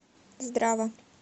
здрава